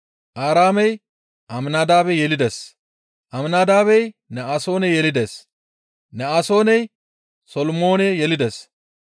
Aaraamey Aminadaabe yelides; Aminadaabey Ne7asoone yelides; Ne7asooney Solomoone yelides;